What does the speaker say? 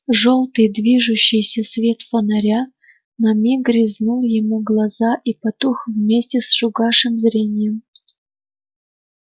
жёлтый движущийся свет фонаря на миг резнул ему глаза и потух вместе с угасшим зрением